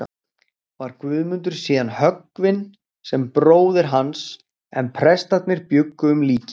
Var Guðmundur síðan höggvinn sem bróðir hans, en prestarnir bjuggu um líkin.